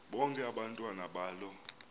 bonke abantwana balo